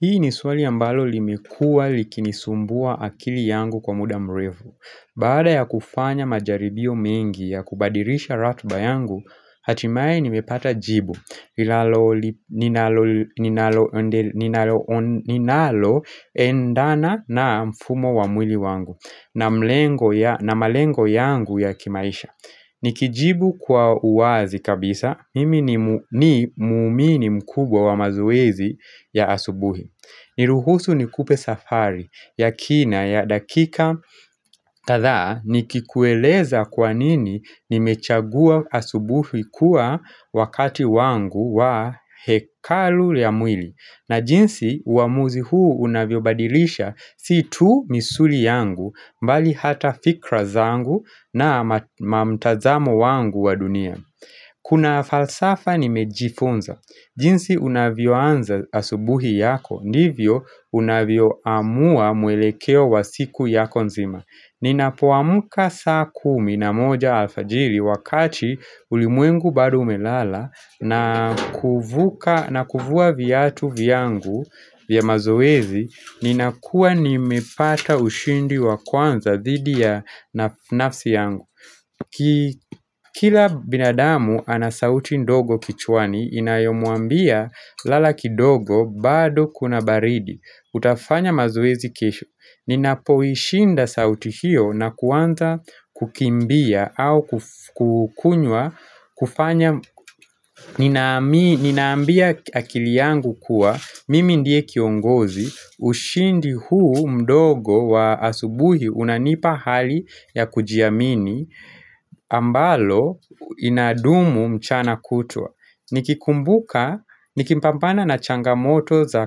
Hii ni swali ambalo limekua likinisumbua akili yangu kwa muda mrefu. Baada ya kufanya majaribio mengi ya kubadilisha ratiba yangu, hatimaye nimepata jibu ninalalo ninalo endana na mfumo wa mwili wangu na malengo yangu ya kimaisha. Nikijibu kwa uwazi kabisa, mimi ni muumini mkubwa wa mazoezi ya asubuhi Niruhusu ni kupe safari, yakina ya dakika kadha nikikueleza kwa nini nimechagua asubuhi kuwa wakati wangu wa hekalu ya mwili na jinsi uamuzi huu unavyobadilisha si tu misuli yangu mbali hata fikra zangu na mtazamo wangu wa dunia Kuna falsafa nimejifunza jinsi unavyo anza asubuhi yako ndivyo unavyo amua mwelekeo wa siku yako nzima Ninapuamuka saa kumi na moja alfajiri wakati ulimwengu bado umelala na kuvua viatu vyangu vya mazoezi Ninakua nimepata ushindi wa kwanza thidi ya nafsi yangu Kila binadamu anasauti ndogo kichwani Inayomuambia lala kidogo bado kuna baridi utafanya mazoezi kesho Ninapoishinda sauti hiyo na kuwanza kukimbia au kukunywa kufanya, ninaambia akili yangu kuwa Mimi ndiye kiongozi ushindi huu mdogo wa asubuhi unanipa hali ya kujiamini ambalo inadumu mchana kutwa Nikikumbuka, nikimpampana na changamoto za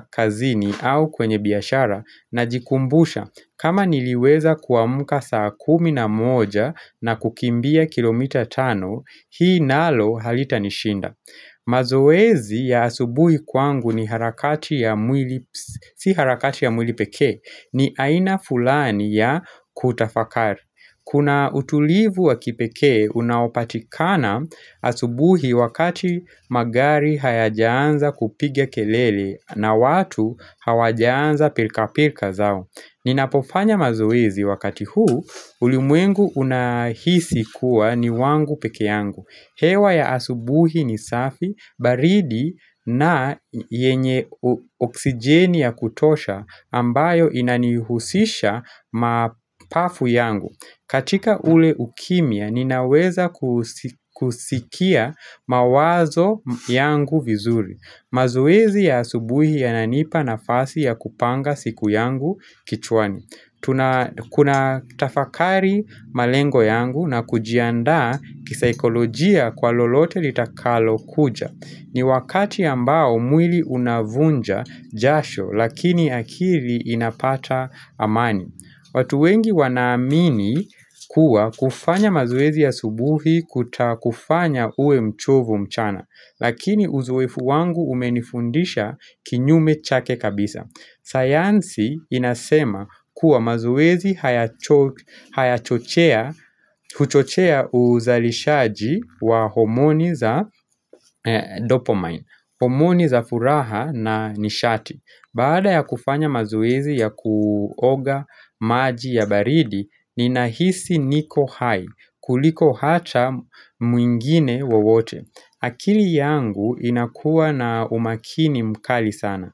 kazini au kwenye biashara Najikumbusha kama niliweza kuamuka saa kumi na moja na kukimbia kilomita tano Hii nalo halitanishinda mazoezi ya asubuhi kwangu si harakati ya mwili peke ni aina fulani ya kutafakari Kuna utulivu wa kipeke unaopatikana asubuhi wakati magari hayajaanza kupiga kelele na watu hawajaanza pilka pilka zao Ninapofanya mazoezi wakati huu ulimwengu unahisi kuwa ni wangu peke yangu. Hewa ya asubuhi ni safi, baridi na yenye oksijeni ya kutosha ambayo inanihusisha mapafu yangu. Katika ule ukimia, ninaweza kusikia mawazo yangu vizuri. Mazoezi ya asubuhi yananipa nafasi ya kupanga siku yangu kichwani. Kuna tafakari malengo yangu na kujianda kisaikolojia kwa lolote litakalo kuja ni wakati ambao mwili unavunja jasho lakini akili inapata amani watu wengi wanaamini kuwa kufanya mazoezi ya subuhi kutakufanya uwe mchovu mchana Lakini uzoefu wangu umenifundisha kinyume chake kabisa sayansi inasema kuwa mazoezi huchochea uzalishaji wa homoni za dopamine, homoni za furaha na nishati. Baada ya kufanya mazoezi ya kuoga maji ya baridi, ninahisi niko hai, kuliko hata mwingine wawote. Akili yangu inakuwa na umakini mkali sana.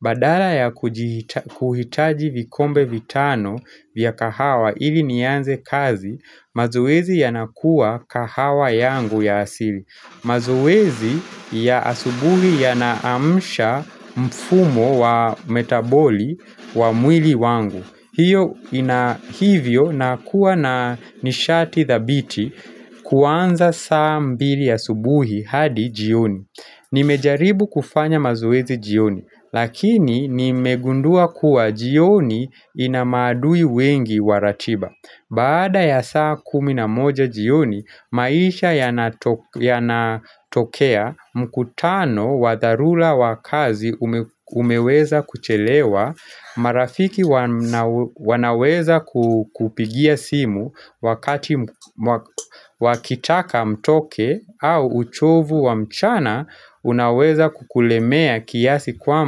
Badala ya kuhitaji vikombe vitano vya kahawa ili nianze kazi, mazoezi yanakuwa kahawa yangu ya asili. Mazoezi ya asubuhi yanaamsha mfumo wa metaboli wa mwili wangu hiyo inahivyo na kuwa na nishati thabiti kuanza saa mbili asubuhi hadi jioni Nimejaribu kufanya mazoezi jioni Lakini nimegundua kuwa jioni inamaadui wengi waratiba Baada ya saa kumi na moja jioni, maisha yanatokea mkutano wa dharula wa kazi umeweza kuchelewa, marafiki wanaweza kupigia simu wakati wakitaka mtoke au uchovu wa mchana unaweza kukulemea kiasi kwamba.